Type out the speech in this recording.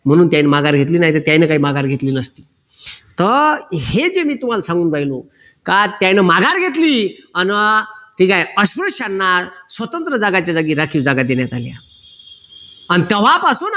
म्हणून त्यांनी माघार घेतली नाही तर त्यांनी काही माघार घेतली नसती तर हे जे मी तुम्हाला सांगून राहिलो का त्यांनी माघार घेतली अन ठीक आहे अस्पृश्याना स्वतंत्र जागाच्या जागी राखीव जागा देण्यात आली अन तेव्हापासून